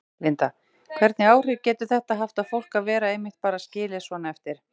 Linda: Hvernig áhrif getur þetta haft á fólk að vera einmitt bara skilið svona eftir?